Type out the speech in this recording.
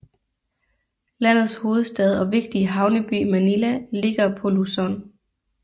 Landets hovedstad og vigtige havneby Manila ligger på Luzon